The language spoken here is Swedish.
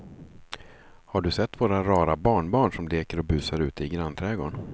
Har du sett våra rara barnbarn som leker och busar ute i grannträdgården!